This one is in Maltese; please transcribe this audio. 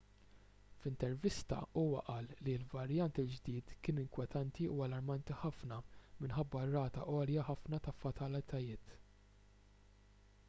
f'intervista huwa qal li l-varjant il-ġdid kien inkwetanti u allarmanti ħafna minħabba r-rata għolja ħafna ta' fatalitajiet